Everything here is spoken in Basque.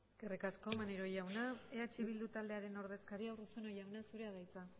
eskerrik asko maneiro jauna eh bildu taldearen ordezkaria urruzuno jauna zurea da hitza